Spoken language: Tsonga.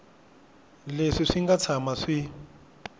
leswi swi nga tshama swi